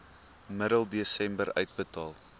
middel desember uitbetaal